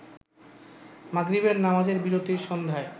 মাগরিবের নামাজের বিরতির সন্ধ্যায়